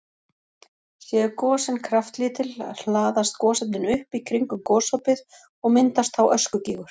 Séu gosin kraftlítil hlaðast gosefnin upp í kringum gosopið og myndast þá öskugígur.